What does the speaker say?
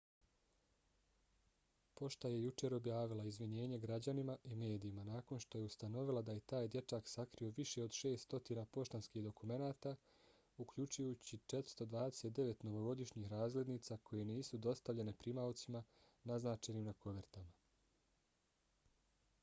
pošta je jučer objavila izvinjenje građanima i medijima nakon što je ustanovila da je taj dječak sakrio više od 600 poštanskih dokumenata uključujući 429 novogodišnjih razglednica koje nisu dostavljene primaocima naznačenim na kovertama